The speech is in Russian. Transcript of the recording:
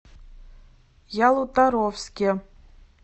ялуторовске